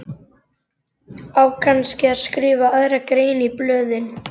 Á kannski að skrifa aðra grein í blöðin?